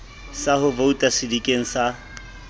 sa ho vouta sedikeng sa